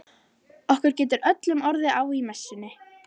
Okkur getur öllum orðið á í messunni.